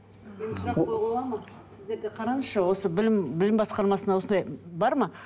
сұрақ қоюға болады ма сіздерде қараңызшы осы білім білім басқармасына осындай бар ма